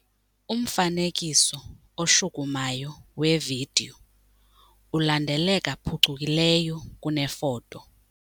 Umfanekiso oshukumayo wevidiyo ulandeleka phucukileyo kunefoto.